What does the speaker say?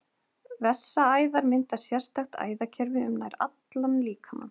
Vessaæðar mynda sérstakt æðakerfi um nær allan líkamann.